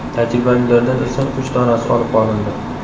Tajribalilardan esa uch donasi olib qolindi.